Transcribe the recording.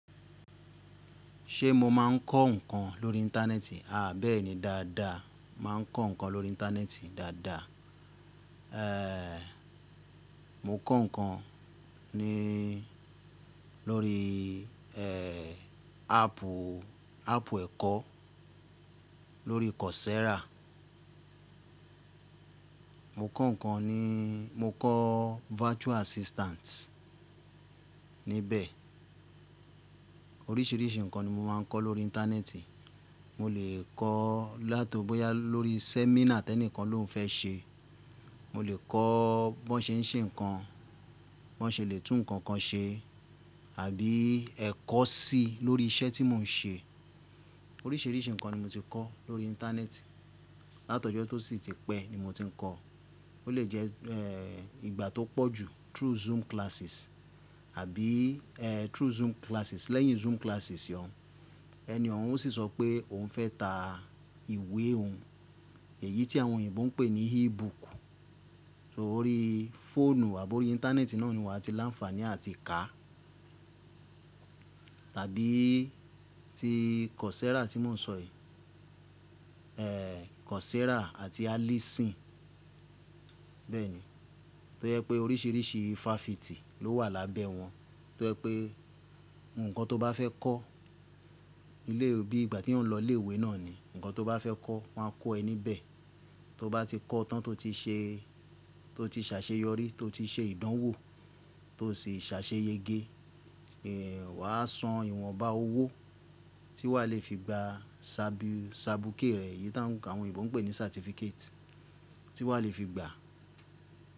Ṣé mo máa ń kọ́ nǹkan lórí Íńtánẹ́ẹ̀tì? Aà bẹ́ẹ̀ ni, dáadáa. Máa ń kọ́ nǹkan lórí Íńtánẹ́ẹ̀tì dáadáa. Ẹ̀ẹ̀, mo kọ́ nǹkan ni lórí ẹ̀ẹ̀ ápù, ápù ẹ̀kọ́, lórí Coursera. Mo kọ́ nǹkan ni, mo kọ́ virtual assistant níbẹ̀. Oríṣiríṣi nǹkan ni mo máa ń kọ́ lórí Íńtánẹ́ẹ̀tì. Mo lè kọ́ láto bọ́yá lórí sẹ́mínà tẹ́nìkan ló ń fẹ́ ṣe. Mo lè kọ́ bí wọ́n ṣe ń ṣe nǹkan, bí wọ́n ṣe lè tún nǹkan kan ṣe àbí ẹ̀kọ́ sí lórí iṣẹ́ tí mò ń ṣe. Oríṣiríṣi nǹkan ni mo ti kọ́ lórí Íńtánẹ́ẹ̀tì. Látí ọ́jọ́ tó sì ti pẹ́ ni mo ti ń kọ́. Ó lè jẹ́ èè ìgbà tó pọ̀ jù through Zoom classes àbí èè through Zoom classes. Lẹ́yìn Zoom classes ọ̀un, ẹni ọ̀un ó sì sọ pé òun fẹ́ ta ìwé òun. Èyí tí àwọn òyìnbó ń pè ní e-book. So orí fóònù àbò orí Íńtánẹ́ẹ̀tì náà ni wàá ti láǹfààní àti kà. Àbí ti Coursera tí mò ń sọ yìí. Èè Coursera àti Alison. Bẹ́ẹ̀ ni. Tó jẹ́ pé oríṣiríṣi fáfitì ló wà lábẹ́ wọn. Tó jẹ́ pé nǹkan tó bá fẹ́ kọ́, ilé òbí ìgbà tí òún lọ ilé ìwé náà ni, nǹkan tó bá fẹ́ kọ́ wọ́n á kọ́ ẹ níbẹ̀. Tó bá ti kọ́ tán tó ti ṣe, tó ti ṣàṣeyọrí, tó ti ṣe ìdánwò tó sì ṣàṣeyége, èè wà á san ìwọ̀nba owó tí wà á le fi gba ṣabú, ṣabuké rẹ. Èyí tí àwọn òyìnbó ń pè ní certificate tí wà á le fi gba.